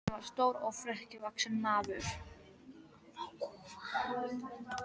Hann var stór og þrekvaxinn maður.